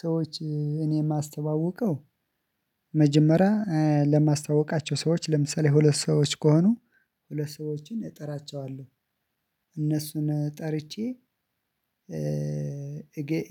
ሰዎች እኔ የማስተዋውቀው መጀመሪያ ለማስታወቃቸው ሰዎች ለምሳሌ ሁለት ሰዎች ከሆኑ ሁለት ሰዎችን እጠራቸዋለሁ እነሱን ጠርቼ።